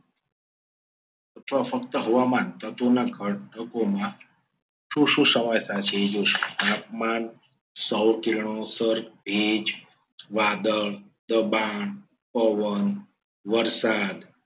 અથવા ફક્ત હવામાન તત્વોના ઘટકોમાં શું શું સમાવેશ થાય છે. એ જોશું. તાપમાન સૌ કિરણો સર્વ ભેજ વાદળ દબાણ પવન વરસાદ